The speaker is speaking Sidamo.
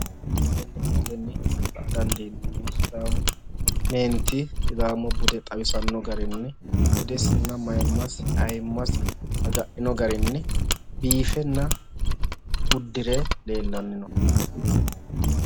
Tenne misilenni la"a dandiineemmohu sidaamu meenti sidaamu bude xawisanno garinni budesinna maayiimmasi ayiimmasi agadhino garinni biifenna uddire leellanni no.